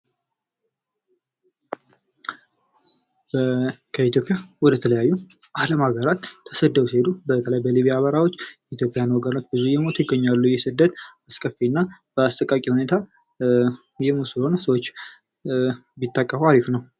ከኢትዮጵያ ወደ ተለያዩ አለም አገራት ተሰደዉ ሲሄዱ በሊቢያ በረሃዎች ኢትዮጵያዉያን ወገኖች እየሞቱ ይገኛሉ። ይህ ስደት አስከፊና አስቃቂ ሁኔታ ሰዎች እየሞቱ ስለሆነ ቢታቀቡ አሪፍ ነዉ።